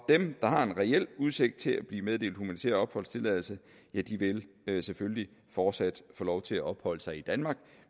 dem der har en reel udsigt til at blive meddelt humanitær opholdstilladelse ja de vil selvfølgelig fortsat få lov til at opholde sig i danmark